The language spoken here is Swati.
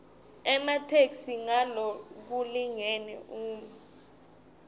ematheksthi ngalokulingene uma